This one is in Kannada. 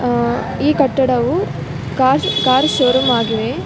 ಆ ಈ ಕಟ್ಟಡವು‌ ಕಾರ್ ಕಾರು ಶೋ ರೂಂ ಆಗಿವೆ .